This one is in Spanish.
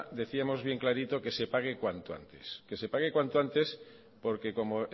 decíamos bien clarito que se pague cuanto antes que se pague cuanto antes porque como